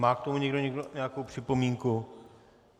Má k tomu někdo nějakou připomínku?